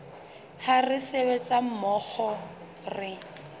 ha re sebetsa mmoho re